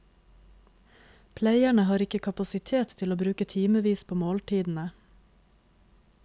Pleierne har ikke kapasitet til å bruke timevis på måltidene.